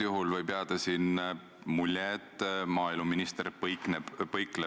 Ja see talitamine on seisnenud selles, et kaitsta Eestit igal hetkel.